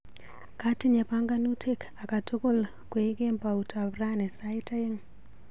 Katinye panganutik akatukul koi kemboutap rani sait aeng.